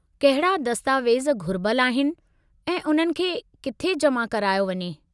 कहिड़ा दस्तावेज़ घुरिबलु आहिनि ऐं उन्हनि खे किथे जमा करायो वञे?